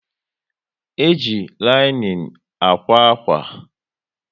E jị linin ákwà akwa